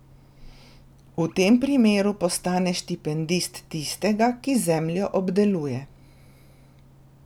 V tem primeru postane štipendist tistega, ki zemljo obdeluje...